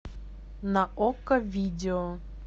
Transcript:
на окко видео